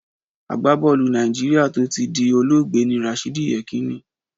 Àgbábọ́ọ̀lù Nàìjíríà tó ti di olóògbé ni Rashidi Yekinni